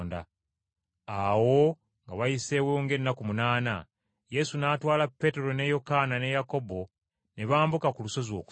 Awo nga wayiseewo ng’ennaku munaana, Yesu n’atwala Peetero ne Yokaana ne Yakobo ne bambuka ku lusozi okusaba.